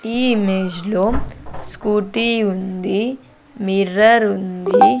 ఈ ఇమేజ్ లో స్కూటీ ఉంది మిర్రర్ ఉంది.